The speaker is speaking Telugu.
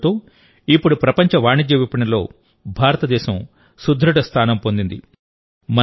ఈ ప్రయోగంతో ఇప్పుడు ప్రపంచ వాణిజ్య విపణిలో భారతదేశం సుదృఢ స్థానం పొందింది